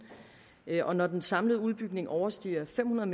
og når den samlede udbygning overstiger fem hundrede